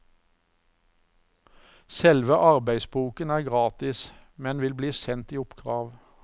Selve arbeidsboken er gratis, men vil bli sendt i oppkrav.